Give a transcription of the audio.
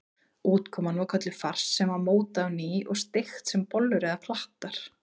Útkoman var kölluð fars sem var mótað á ný og steikt sem bollur eða klattar.